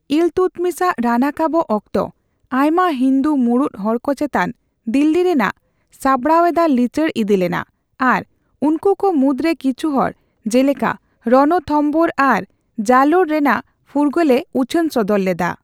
ᱤᱞᱛᱩᱛᱢᱤᱥᱟᱜ ᱨᱟᱱᱟᱠᱟᱵᱚᱜ ᱚᱠᱛᱚ, ᱟᱭᱢᱟ ᱦᱤᱱᱫᱩ ᱢᱩᱬᱩᱫ ᱦᱚᱲᱠᱚ ᱪᱮᱛᱟᱱ ᱫᱤᱞᱞᱤ ᱨᱮᱱᱟᱜ ᱥᱟᱸᱵᱽᱲᱟᱣ ᱮᱫᱟ ᱞᱤᱪᱟᱹᱲ ᱤᱫᱤ ᱞᱮᱱᱟ ᱟᱨ ᱩᱱᱠᱩ ᱠᱚ ᱢᱩᱫᱽᱨᱮ ᱠᱤᱪᱷᱩᱦᱚᱲ ᱡᱮᱞᱮᱠᱟ ᱨᱚᱱᱚᱛᱷᱚᱢᱵᱳᱨ ᱟᱨ ᱡᱟᱞᱳᱨ ᱨᱮᱱᱟᱜ ᱯᱷᱩᱨᱜᱟᱹᱞᱮ ᱩᱪᱷᱟᱹᱱ ᱥᱚᱫᱚᱨ ᱞᱮᱫᱟ ᱾